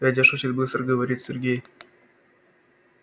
дядя шутит быстро говорит сергей